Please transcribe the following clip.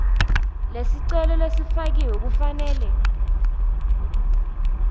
lesicelo lesifakiwe kufanele